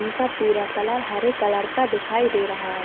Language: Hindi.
इनका पूरा कलर हरे कलर का दिखाई दे रहा हैं।